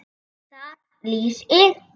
Þar lýsir